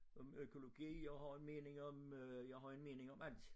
Om økologi jeg har en mening om øh jeg har en mening om alt